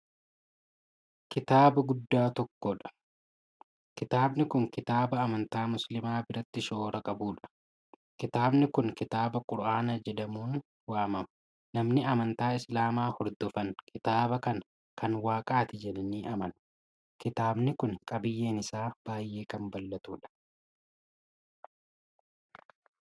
Kitaaba guddaa tokkodha. kitaabni Kuni kitaaba amantaa musliimaa biratti shoora qabuudha. kitaabni Kuni kitaaba qura'aanaa jedhamuun waamama. namoonni amantaa islaamaa hordofan kitaaba kana Kan waaqaati jedhanii amanu. kitaabni Kuni qabiyyeen isaa baay'ee Kan bal'atuudha.